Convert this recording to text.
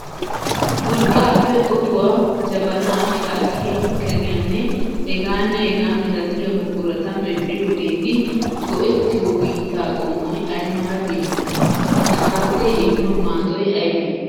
Urqqaappe otuwaa, jabanaa, shaatiyaa, keriyaanne hegaanne hegaa milatiya buqurata medhdhiyageeti go'ettiyo biittaa qommoy ay mala biittay? Shaatee immiyo maadoy aybee?